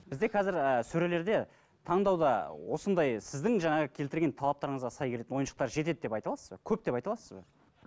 бізде қазір ыыы сөрелерде таңдауда осындай сіздің жаңағы келтірген талаптарыңызға сай келетін ойыншықтар жетеді деп айта аласыз ба көп деп айта аласыз ба